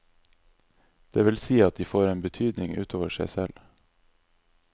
Det vil si at de får en betydning utover seg selv.